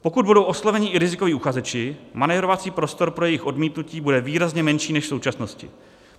Pokud budou osloveni i rizikoví uchazeči, manévrovací prostor pro jejich odmítnutí bude výrazně menší než v současnosti.